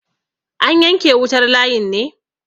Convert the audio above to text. an yanke wutar layin ne?